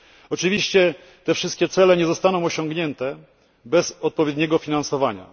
Oczywiście te wszystkie cele nie zostaną osiągnięte bez odpowiedniego finansowania.